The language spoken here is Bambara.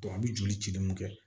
an bɛ joli ci min kɛ